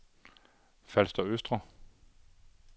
Falster Østre